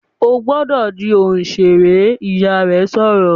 "Ó gbọ́dọ̀ di òṣèré!", Ìyá rẹ̀ sọ̀rọ̀